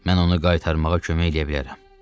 Mən onu qaytarmağa kömək eləyə bilərəm.